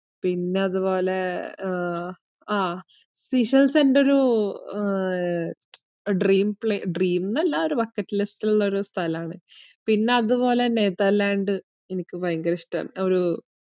പിന്നതുപോലെ uh ah Seychelles എന്റൊരു uh dream പ്ലേ~ dream ന്നല്ല ഒരു bucket list ഇലുള്ള ഒരു സ്ഥലാണ്. പിന്നതുപോലെ നെതെർലാൻഡ് എനിക്ക് ഭയങ്കര ഇഷ്ടാണ്. ഒരൂ